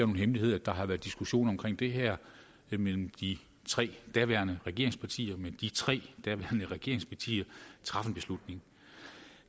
hemmelighed at der har været diskussion om det her mellem de tre daværende regeringspartier men de tre daværende regeringspartier traf en beslutning